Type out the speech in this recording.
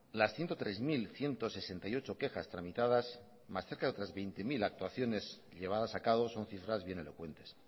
las ciento tres mil ciento sesenta y ocho quejas tramitadas más cerca de otras veinte mil actuaciones llevadas acabo son cifras bien elocuentes